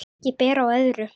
Ekki ber á öðru.